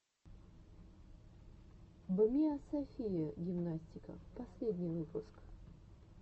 бмиасофия гимнастика последний выпуск